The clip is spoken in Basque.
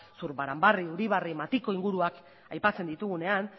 zurbaranbarri uribarri matiko inguruak aipatzen ditugunean